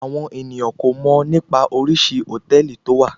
Àwọn ènìyàn kò mọ̀ nípa oríṣi hòtẹ́ẹ̀lì tó wà.